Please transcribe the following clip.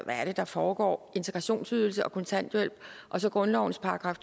er det der foregår integrationsydelse og kontanthjælp og så grundlovens §